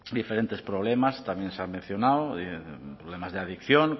diferentes problemas también se han mencionado problemas de adicción